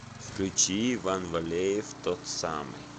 включи иван валеев тот самый